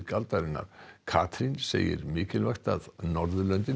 aldarinnar Katrín segir mikilvægt að Norðurlöndin